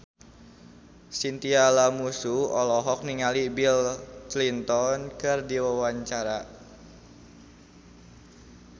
Chintya Lamusu olohok ningali Bill Clinton keur diwawancara